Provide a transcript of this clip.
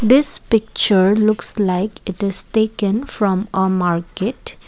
this picture looks like it is taken from uh market.